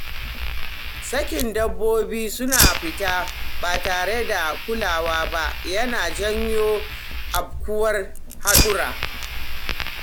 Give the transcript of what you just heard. Sakin dabbobi suna fita ba tare da kulawa ba yana janyo afkuwar haɗura.